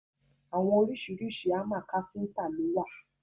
Àwọn oríṣiríṣi hámà káfíntà lo wà.